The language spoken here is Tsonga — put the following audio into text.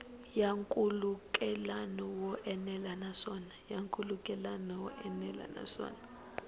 ya nkhulukelano wo enela naswona